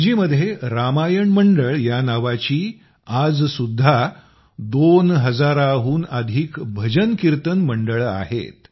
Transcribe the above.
फिजीमध्ये रामायण मंडळं या नावाची आजसुद्धा दोन हजाराहून अधिक भजन कीर्तन मंडळं आहेत